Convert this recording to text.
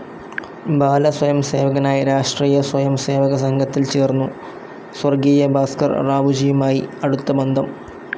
ബാലസ്വയംസേവകനായി രാഷ്ട്രിയ സ്വയം സേവക സംഘത്തിൽ ചേർന്നു, സ്വർഗീയ ഭാസ്ക്കർ റാവുജിയുമായി അടുത്ത ബന്ധം.